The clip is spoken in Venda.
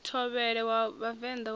thovhele wa vhavenḓa wa u